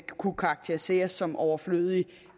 kunne karakteriseres som overflødige